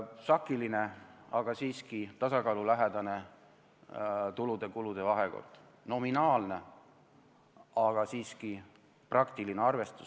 Sakiline, aga siiski tasakaalulähedane tulude ja kulude vahekord, nominaalne, aga siiski praktiline arvestus.